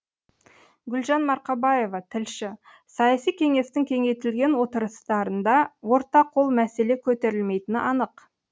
гүлжан марқабаева тілші саяси кеңестің кеңейтілген отырыстарында орта қол мәселе көтерілмейтіні анық